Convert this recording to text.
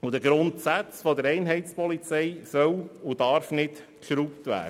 beziehungsweise den Grundsätzen der Einheitspolizei soll und darf nicht gerüttelt werden.